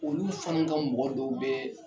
Olu fana ka mɔgɔ dɔw bɛɛ